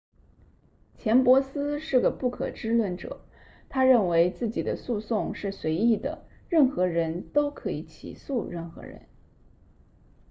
钱伯斯是个不可知论者他认为自己的诉讼是随意的任何人都可以起诉任何人